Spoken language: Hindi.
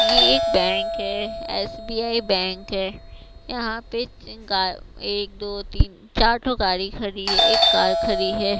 ये एक बैंक है एस_बी_आई बैंक है यहां पे तीन गाय एक दो तीन चार ठो गाड़ी खड़ी है एक कार खड़ी है।